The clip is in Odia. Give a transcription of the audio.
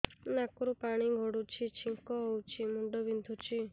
ନାକରୁ ପାଣି ଗଡୁଛି ଛିଙ୍କ ହଉଚି ମୁଣ୍ଡ ବିନ୍ଧୁଛି